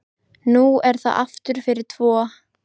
Nú er það aftur fyrir tvo.